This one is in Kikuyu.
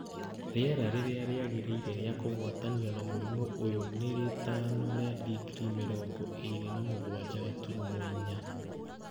Rĩera rĩrĩa rĩagĩrĩire rĩa kũgwatanio na mũrimũ ũyũ nĩ rĩtaano rĩa digirii mĩrongo ĩrĩ na mũgwanja gaturumo inya.